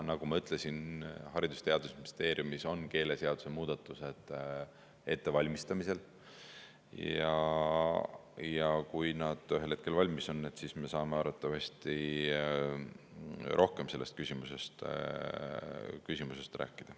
Nagu ma ütlesin, Haridus‑ ja Teadusministeeriumis on keeleseaduse muudatused ettevalmistamisel, ja kui nad ühel hetkel valmis on, siis me saame arvatavasti rohkem sellest rääkida.